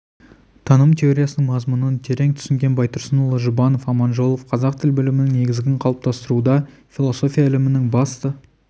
таным теориясының мазмұнын терең түсінген байтұрсынұлы жұбанов аманжолов қазақ тіл білімінің негізін қалыптастыруда философия ілімінің басты